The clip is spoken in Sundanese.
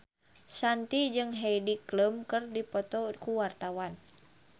Shanti jeung Heidi Klum keur dipoto ku wartawan